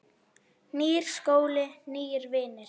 Nýr skóli, nýir vinir.